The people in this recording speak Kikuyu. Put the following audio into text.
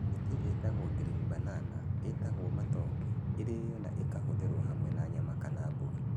Mĩtĩ ĩĩtagwo green banana, ĩĩtagwo matoke, ĩrĩĩo na ĩkarutithio hamwe na nyama kana mboga.